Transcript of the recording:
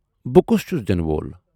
بہٕ کُس چھُس دِنہٕ وول۔